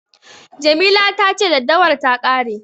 Jamila ta ce daddawar ta ƙare.